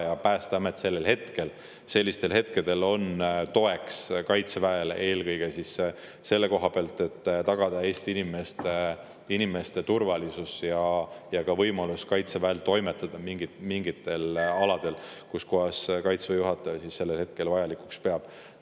Ja Päästeamet on sellistel hetkedel Kaitseväele toeks, eelkõige siis selle koha pealt, et tagada Eesti inimeste turvalisus ja anda Kaitseväele võimalus toimetada mingitel aladel, kus kohas Kaitseväe juhataja seda vajalikuks peab.